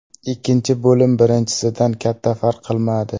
Ikkinchi bo‘lim birinchisidan katta farq qilmadi.